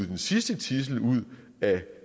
den sidste tidsel ud af